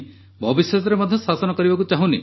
ଭବିଷ୍ୟତରେ ମଧ୍ୟ ଶାସନ କରିବାକୁ ଚାହୁଁନି